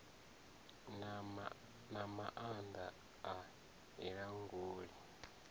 na maanda a i languli